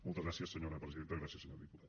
moltes gràcies senyora presidenta gràcies senyor diputat